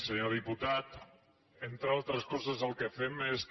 senyor diputat entre altres coses el que fem és que